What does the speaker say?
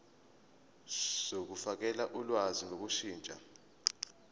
zokufakela ulwazi ngokushintsha